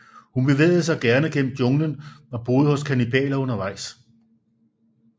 Hun bevægede sig gerne gennem junglen og boede hos kannibaler undervejs